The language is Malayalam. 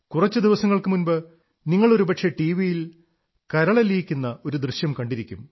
കുറച്ചു ദിവസങ്ങൾക്കു മുമ്പ് നിങ്ങൾ ഒരു പക്ഷേ ടിവിയിൽ കരളലിയിക്കുന്ന ഒരു ദൃശ്യം കണ്ടിരിക്കും